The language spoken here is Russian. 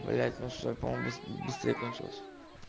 блять ну все понял быстрее кончилось